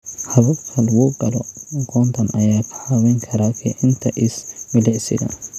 Hababka lagu galo aqoontan ayaa kaa caawin kara kicinta is-milicsiga.